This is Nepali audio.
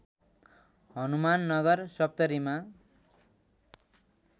हनुमाननगर सप्तरीमा